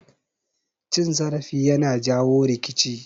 Cin zarafi yana jawo rikici